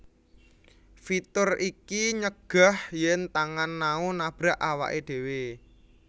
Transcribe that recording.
Fitur iki nyegah yen tangan Nao nabrak awake dewe